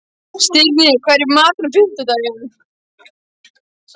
Stirnir, hvað er í matinn á fimmtudaginn?